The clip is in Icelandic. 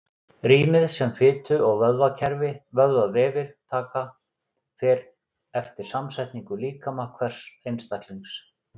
Rýmið sem fitu- og vöðvavefir taka fer eftir samsetningu líkama hvers einstaklings.